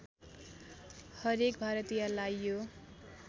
हरेक भारतीयलाई यो